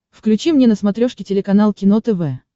включи мне на смотрешке телеканал кино тв